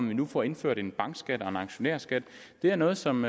vi nu får indført en bankskat og en aktionærskat det er noget som